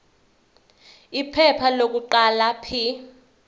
iphepha lokuqala p